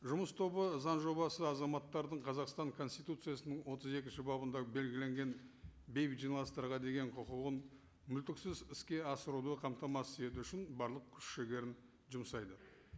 жұмыс тобы заң жобасы азаматтардың қазақстан конституциясының отыз екінші бабында белгіленген бейбіт жиналыстарға деген құқығын мүлтіксіз іске асыруды қамтамасыз ету үшін барлық күш жігерін жұмсайды